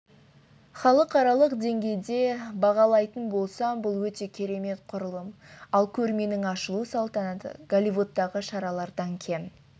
халықаралық деңгейде бағалайтын болсам бұл өте керемет құрылым ал көрменің ашылу салтанаты голливудтағы шаралардан кем